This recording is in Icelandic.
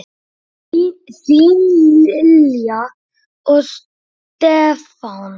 Þín Lilja og Stefán.